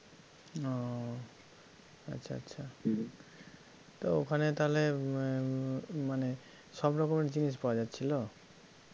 ও আচ্ছা আচ্ছা তো ওখানে তাহলে উম মানে সবরকমের জিনিস পাওয়া যাচ্ছিল?